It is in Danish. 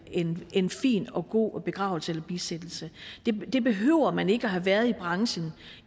en en fin og god begravelse eller bisættelse det behøver man ikke at have været i branchen